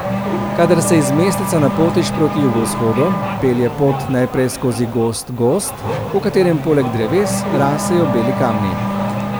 Kadar se iz mesteca napotiš proti jugovzhodu, pelje pot najprej skozi gost gozd, v katerem poleg dreves rasejo beli kamni.